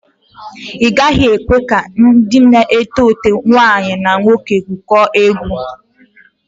Ị gaghị ekwe ka ndị na-eto eto nwaanyi na nwoke gwụkọọ egwu.